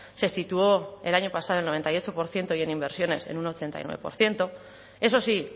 se situó en el año pasado en el noventa y ocho por ciento y en inversiones en un ochenta y nueve por ciento eso sí